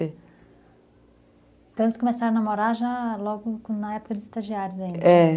Então, eles começaram a namorar já logo na época dos estagiários ainda, é.